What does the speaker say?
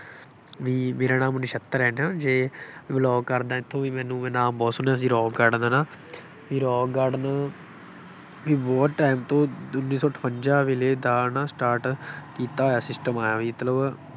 ਬਈ ਮੇਰਾ ਨਾਮ ਨਛੱਤਰ ਹੈ ਨਾ ਜੇ, belong ਕਰਦਾ, ਕਿਉਂਕਿ ਮੈਨੂੰ ਮੈਂ ਨਾਮ ਬਹੁਤ ਸੁਣਿਆ ਸੀ ਰੌਕ ਗਾਰਡਨ ਹੈ ਨਾ, ਬਈ ਰੌਕ ਗਾਰਡਨ ਬਈ ਬਹੁਤ time ਤੋਂ ਉੱਨੀ ਸੌ ਅਠਵੰਜ਼ਾ ਵੇਲੇ ਦਾ ਨਾ start ਕੀਤਾ ਹੋਇਆ ਸੀ system ਆਏਂ ਬਈ ਮਤਲਬ